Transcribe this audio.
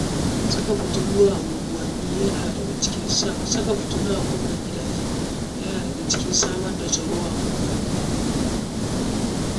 Saka fitilu a anguwanni yana daga cikin sa Saka fitilu a ƙofar gidaje yana cikin hanyoyin samar da tsaro a unguwanni.